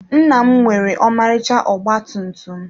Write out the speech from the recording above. Nna m nwere ọmarịcha ọgba tum tum.